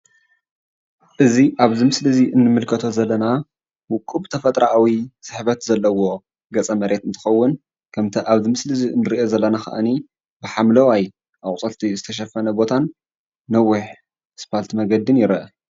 እዚ ኣብዚ ምስሊ እዚ ንምልከቶ ዘለና ውቁብ ተፈጥርኣዊ ስሕበት ዘለዎ ገፀ መሬት እንትኸውን ከምቲ ኣብ ምስሊ እንሪኦ ዘለና ድማኣኒ ሓምለዋይ ኣቑፅልቲ ዝተሸፈነ ቦታ ነዊሕ ኣስፋልቲ መንገዲ ይረአ።